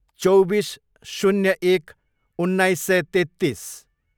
चौबिस, शून्य एक, उन्नाइस सय तेत्तिस